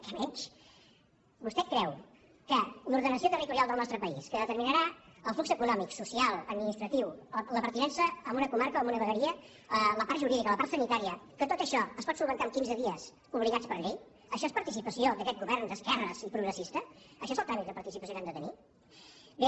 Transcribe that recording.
què menys vostè creu que l’ordenació territorial del nostre país que determinarà el flux econòmic social administratiu la pertinença a una comarca o a una vegueria la part jurídica la part sanitària que tot això es pot resoldre amb quinze dies obligats per llei això és participació d’aquest govern d’esquerres i progressista això és el tràmit de participació que han de tenir bé